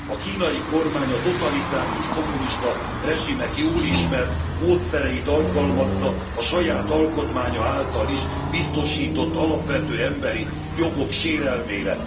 A kínai kormány a totalitárius, kommunista rezsimek jól ismert módszereit alkalmazza a saját alkotmánya által is biztosított alapvető emberi jogok sérelmére.